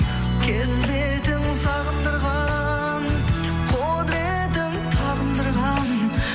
келбетің сағындырған құдыретің табындырған